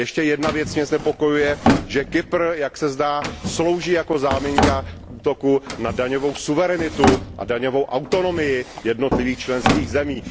A ještě jedna věc mě znepokojuje Kypr, jak se zdá, slouží jako záminka k útoku na daňovou suverenitu a daňovou autonomii jednotlivých členských zemí.